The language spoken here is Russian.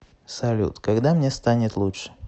салют когда мне станет лучше